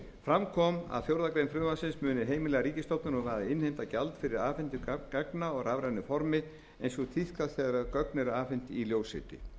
fram kom að fjórðu grein frumvarpsins mundi heimila ríkisstofnunum að innheimta gjald fyrir afhendingu gagna á rafrænu formi eins og tíðkast þegar gögn eru afhent í ljósriti